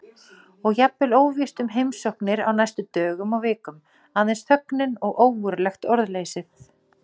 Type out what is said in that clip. Og jafnvel óvíst um heimsóknir á næstu dögum og vikum. aðeins þögnin og ógurlegt orðleysið.